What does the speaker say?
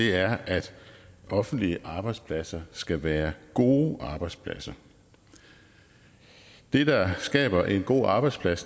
er at offentlige arbejdspladser skal være gode arbejdspladser det der skaber en god arbejdsplads